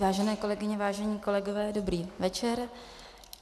Vážené kolegyně, vážení kolegové, dobrý večer.